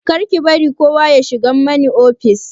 Kar ki bari kowa ya shigo mani ofis!